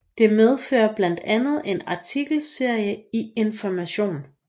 Det medfører blandt andet en artikelserie i Information